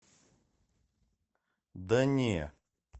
да не